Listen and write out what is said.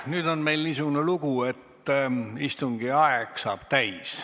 Nüüd on meil niisugune lugu, et istungi aeg saab kohe täis.